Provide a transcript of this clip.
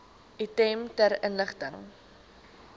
item ter inligting